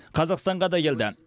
қазақстанға да келді